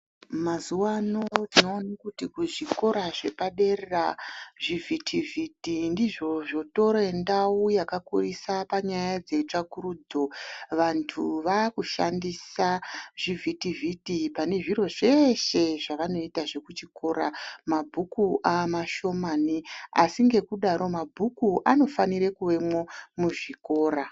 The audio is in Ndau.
Mazuwa ano tinoone kuti kuzvikora zvepdadera zvivhiti vhiti ndizvo zvotore ndau yakakurisa panyaya dzetsvakurudzo vantu vakudhandisa zvivhiti vhiti pane zviro zveshe zvavanoita zvekuchikora mabhuku amashomani asi ngekudaro mabhuku anofanire kuvemwo muzvikora.